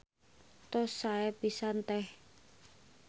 Tos sae pisan Teh.